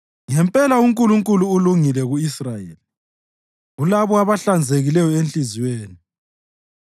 Ngempela uNkulunkulu ulungile ku-Israyeli, kulabo abahlanzekileyo enhliziyweni.